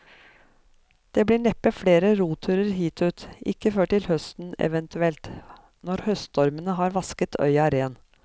Det blir neppe flere roturer hit ut, ikke før til høsten eventuelt, når høststormen har vasket øya ren.